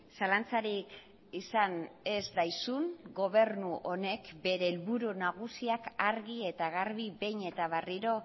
zalantzarik izan ez daizun gobernu honek bere helburu nagusiak argi eta garbi behin eta berriro